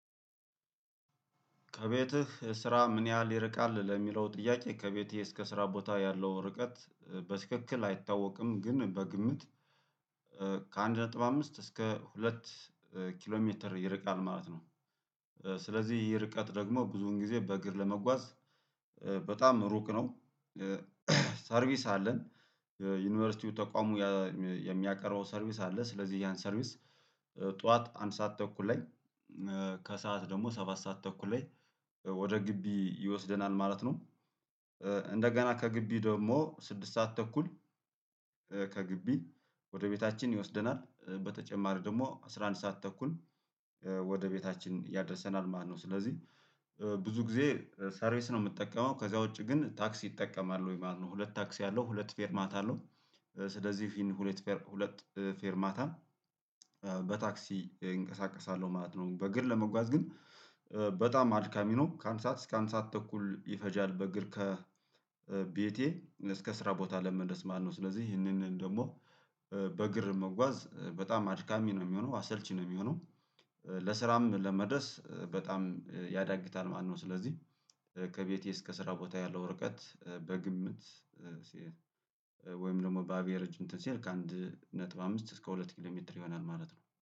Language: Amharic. "ከቤትህ ስራ ምን ያህል ይርቃል?" ለሚለው ጥያቄ፤ ከቤቴ እስከ ስራ ቦታ ያለው ርቀት በስክክል አይታወቅም። ግን በግምት ከአንድ ነጥብ አምስት እስከ ሁለት ኪሎ ሜትር ይርቃል ማለት ነው። ስለዚህ ይህ ርቀት ደግሞ ብዙን ጊዜ በእግር ለመጓዝ በጣም ሩቅ ነው። ሰርቪስ አለን። ዩኒቨርሲቲው ተቋሙ የሚያቀርበው ሰርቪስ አለ። ስለዚህ ያን ሰርቪስ ጠዋት አንድ ሰዓት ተኩል ላይ ከሰአት ደግሞ ሰባት ሰዓት ተኩል ላይ ወደ ግቢ ይወስደናል ማለት ነው። እንደገና ከግቢ ደግሞ ስድስት ሰዓት ተኩል ከግቢ ወደ ቤታችን ይወስደናል በተጨማሪ ደግሞ አስራ አንድ ሰዓት ተኩል ወደ ቤታችን ያደርሰናል ማለት ነው። ስለዚህ ብዙ ጊዜ ሰርቪስ ነው የምጠቀመው፤ ከዛ ውጪ ግን ታክስ እጠቀማለሁኝ ማለት ነው ሁለት ታክስ ያለው ሁለት ፌር ማታ አለው። ስለዚህ ይህን ሁለት ፌር ሁለት ፌርማታ በታክሲ እንቀሳቀሳለሁ ማለት ነው። በእግር ለመጓዝ ግን በጣም አድካሚ ነው። ከአንድ ሰዓት እስከ አንድ ሰዓት ተኩል ይፈጃል በእግር ከቤቴ እስከ ስራ ቦታ ለመድረስ ማለት ነው። ስለዚህ ይህንን ደግሞ በእግር መጓዝ በጣም አድካሚ ነው የሚሆነው አሰልቺ ነው የሚሆነው። ለስራም ለመድረስ በጣም ያዳግታል ማለት ነው ስለዚህ ከቤቴ እስከ ስራ ቦታ ያለው ርቀት በግምት ወይም ደግሞ በአቬሬጅ እንትን ሲል ከአንድ ነጥብ አምስት እስከ ሁለት ኪሎሜትር ይሆናል ማለት ነው።